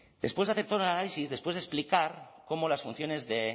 después de hacer todo el análisis después de explicar cómo las funciones de